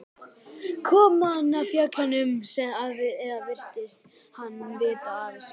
Kom hann af fjöllum eða virtist hann vita af þessu?